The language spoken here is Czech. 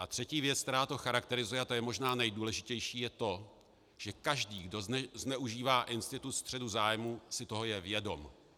A třetí věc, která to charakterizuje, a to je možná nejdůležitější, je to, že každý, kdo zneužívá institut střetu zájmů, si toho je vědom.